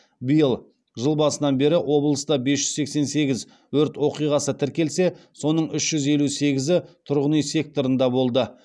биыл жыл басынан бері облыста бес жүз сексен сегіз өрт оқиғасы тіркелсе соның үш жүз елу сегізі тұрғын үй секторында болды